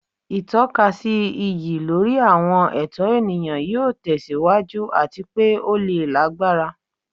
Itọkasi iyi lori awọn ẹtọ eniyan yoo tẹsiwaju ati pe o le lagbara